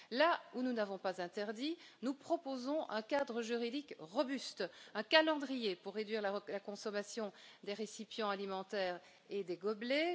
Là où nous n'avons pas interdit, nous proposons un cadre juridique robuste, un calendrier pour réduire la consommation des récipients alimentaires et des gobelets